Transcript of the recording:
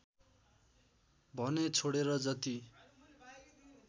भने छोडेर जति